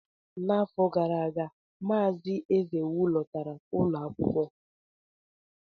N'afọ gara aga, Mazị Ezewu lekọtara ụlọ akwụkwọ.